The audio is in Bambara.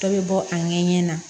Dɔ bɛ bɔ a ɲɛ ɲɛ na